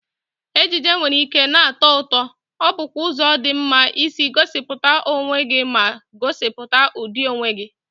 Ejiji nwere ike na-atọ ụtọ, ọ bụkwa ụzọ dị mma isi gosipụta onwe gị ma gosipụta ụdị onwe gị.